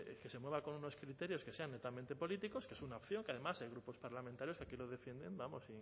que se mueva con unos criterios que sean netamente políticos que es una opción que además hay grupos parlamentarios que aquí lo defienden vamos